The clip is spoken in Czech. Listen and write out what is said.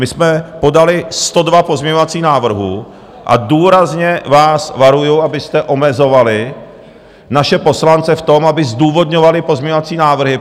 My jsme podali 102 pozměňovacích návrhů a důrazně vás varuju, abyste omezovali naše poslance v tom, aby zdůvodňovali pozměňovací návrhy.